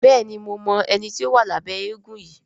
Béèni mo mọ ẹní tí o wa Labe éégun yí.